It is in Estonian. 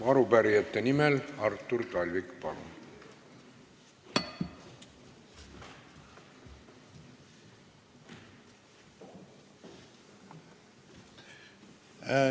Arupärijate nimel Artur Talvik, palun!